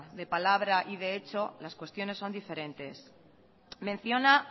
de palabra y de hecho las cuestiones son diferentes menciona